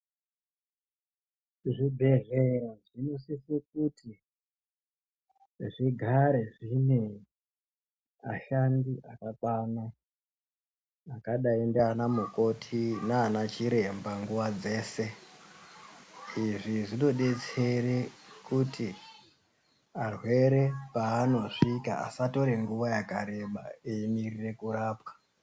Zvibhedhlera zvinosise kuti zvigare zviine vashandi vakakwana vakadayi ngaanamukoti naanachiremba nguwa dzeshe. Izvi zvinodetsera kuti varwere pavanosvika vasatore nguwa yakareba veimirira kurapwa.